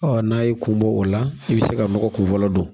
Ɔ n'a y'i kun bɔ o la i bɛ se ka nɔgɔ kunfɔlɔ don